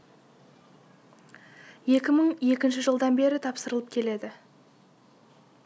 екі мың екінші жылдан бері тапсырылып келеді